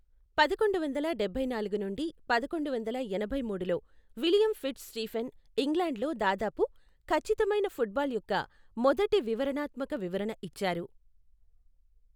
పదకొండు వందల డబ్బై నాలుగు నుండి పదకొండు వందల ఎనభై మూడులో విలియం ఫిట్జ్ స్టీఫెన్ ఇంగ్లాండ్లో దాదాపు ఖచ్చితమైన ఫుట్బాల్ యొక్క మొదటి వివరణాత్మక వివరణ ఇచ్చారు.